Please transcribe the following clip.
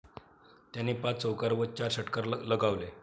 त्याने पाच चौकार व चार षटकार लगावले.